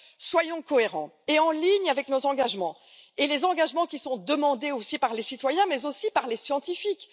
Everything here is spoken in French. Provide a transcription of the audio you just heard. Soyons cohérents avec nos engagements et les engagements qui sont demandés non seulement par les citoyens, mais aussi par les scientifiques.